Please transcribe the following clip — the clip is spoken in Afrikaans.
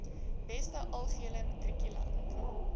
beste algehele matrikulant